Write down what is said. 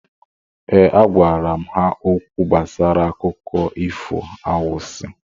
Ee, agwara m ha okwu gbasara akụkọ ifo anwansị